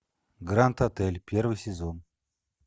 гранд отель первый сезон